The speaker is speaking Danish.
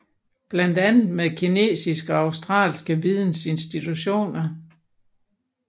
Blandt andet med kinesiske og australske vidensinstitutioner